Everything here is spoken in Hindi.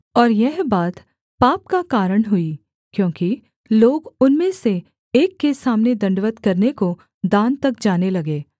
और यह बात पाप का कारण हुई क्योंकि लोग उनमें से एक के सामने दण्डवत् करने को दान तक जाने लगे